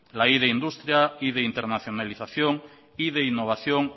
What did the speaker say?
la primero de industria primero de internalización primero de innovación